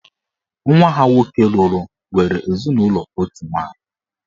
Nwa ha nwoke lụrụ nwere ezinụlọ otu nwaanyị.